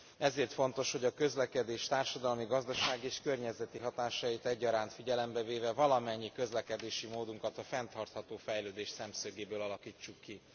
Ezért fontos, hogy a közlekedés társadalmi, gazdasági és környezeti hatásait egyaránt figyelembe véve valamennyi közlekedési módunkat a fenntartható fejlődés szemszögéből alakítsuk ki.